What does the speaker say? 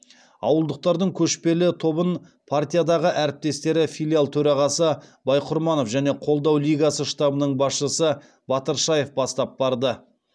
ауылдықтардың көшпелі тобын партиядағы әріптестері филиал төрағасы байқұрманов және қолдау лигасы штабының басшысы батыршаев бастап барды